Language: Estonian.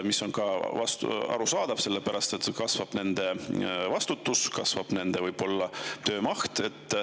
See on ka arusaadav, sellepärast et kasvab nende vastutus ja kasvab võib-olla ka nende töömaht.